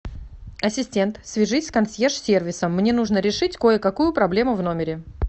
ассистент свяжись с консьерж сервисом мне нужно решить кое какую проблему в номере